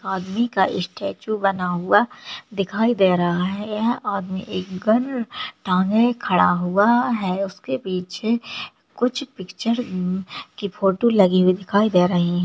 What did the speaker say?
आदमी का स्टेचू बना हुआ दिखाई दे रहा है यह आदमी एक गन टाँगे खड़ा हुआ है उसके पीछे कुछ पिक्चर की फोटो लगी हुई दिखाई दे रही है।